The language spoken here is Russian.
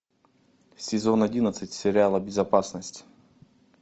сезон одиннадцать сериала безопасность